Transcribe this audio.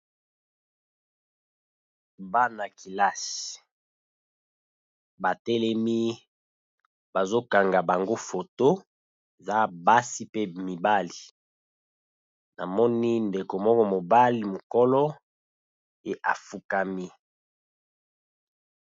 Bana kelasi, batelemi bazo kanga bango foto za basi pe mibali namoni ndeko moko mobali mokolo e afukami.